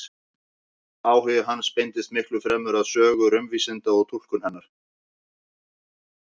Áhugi hans beindist miklu fremur að sögu raunvísinda og túlkun hennar.